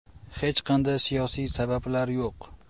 Hech qanday siyosiy sabablar yo‘q.